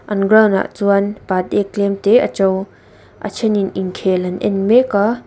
an ground ah chuan patek tlem te a to a theinin inkhel an en mek a.